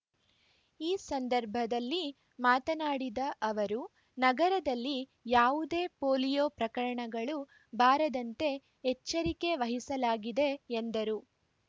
ಈ ಸಂದರ್ಭದಲ್ಲಿ ಮಾತನಾಡಿದ ಅವರು ನಗರದಲ್ಲಿ ಯಾವುದೇ ಪೋಲಿಯೋ ಪ್ರಕರಣಗಳು ಬಾರದಂತೆ ಎಚ್ಚರಿಕೆ ವಹಿಸಲಾಗಿದೆ ಎಂದರು